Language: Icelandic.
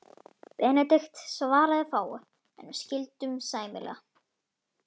Benedikt svaraði fáu, en við skildum sæmilega.